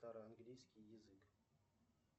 старо английский язык